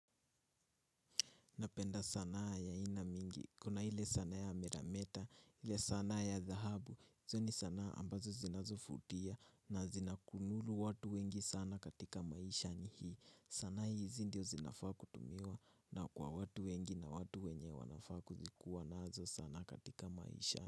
Napenda sanaa ya aina mingi, kuna ile sanaa ya mirameta, ile sanaa ya dhahabu, hizo ni sanaa ambazo zinazovutia na zinawateka watu wengi sana katika maishani hii, sanaa hizi ndio zinafaa kutumiwa na kwa watu wengi na watu wenye wanafaa kuwa nazo sana katika maisha.